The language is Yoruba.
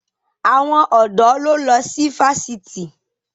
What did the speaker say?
Àwọn ọ̀dọ́ ló ń lọ sí fásitì.